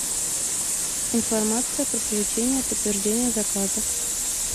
информация про получение подтверждения заказа